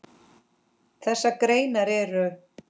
Þessar greinar eru